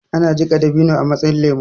ana jika dabino a matsayin lemo